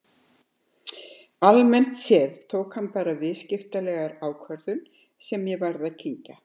Almennt séð tók hann bara viðskiptalega ákvörðun sem ég varð að kyngja.